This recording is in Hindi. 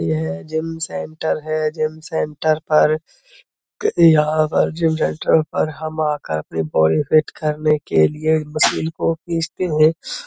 यह जिम सेंटर है। जिम सेंटर पर क यहाँ पर जिम सेंटर पर हम आकर अपनी बॉडी फिट करने के लिए मशीन को खींचते हैं।